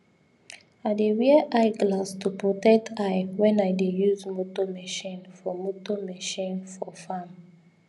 i dey wear eye glass to protect eye when i dey use motor machine for motor machine for farm